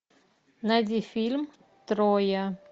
найди фильм троя